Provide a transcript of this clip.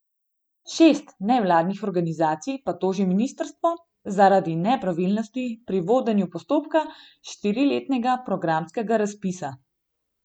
Šest nevladnih organizacij pa toži ministrstvo zaradi nepravilnosti pri vodenju postopka štiriletnega programskega razpisa.